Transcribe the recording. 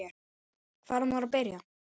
Hvar á maður að byrja?